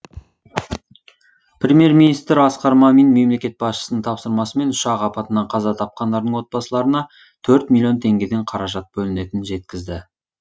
премьер министр асқар мамин мемлекет басшысының тапсырмасымен ұшақ апатынан қаза тапқандардың отбасыларына төрт миллион теңгеден қаражат бөлінетінін жеткізді